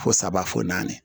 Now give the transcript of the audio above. Fo saba fo naani